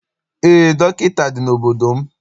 Eé, dọkịta dị n'obodo m.